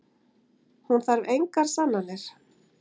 Hún þarf engar sannanir.